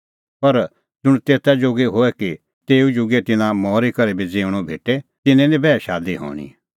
पर ज़ुंण तेता जोगी होए कि तेऊ जुगै तिन्नां मरी करै भी ज़िऊंणअ भेटे तिन्नें निं बैह शादी हणीं